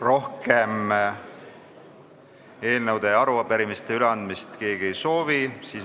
Rohkem eelnõusid ja arupärimisi keegi üle anda ei soovi.